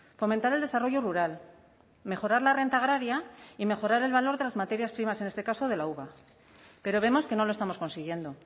fomentar el desarrollo rural mejorar la renta agraria y mejorar el valor de las materias primas en este caso de la uva pero vemos que no lo estamos consiguiendo